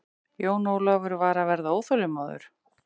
Jón Ólafur var að verða óþolinmóður.